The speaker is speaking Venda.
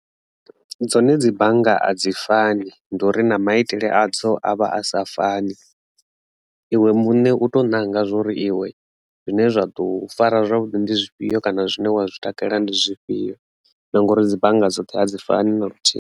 Dzone dzi bannga a dzi fani ndi uri na maitele adzo avha a sa fani iwe muṋe u to nanga zwori iwe zwine zwa ḓo fara zwavhuḓi ndi zwifhio kana zwine wa zwi takalela ndi zwifhio ngori dzi bannga dzoṱhe a dzi fani na luthihi.